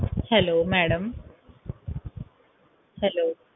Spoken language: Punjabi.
hellomadamhello